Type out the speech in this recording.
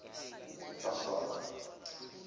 kafaro